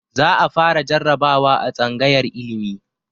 Za a fara jarabawa a tsangayar ilimi